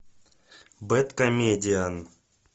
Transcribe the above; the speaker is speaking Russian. бэдкомедиан